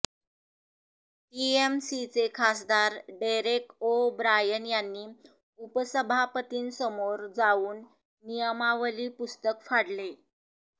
टीएमसीचे खासदार Derek O'Brien यांनी उपसभापतींसमोर जावून नियमावली पुस्तक फाडले